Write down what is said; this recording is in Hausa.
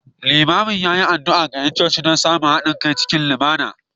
Limamin ya yi addu’a ga ’yan coci guda don samun haɗin kai cikin lumana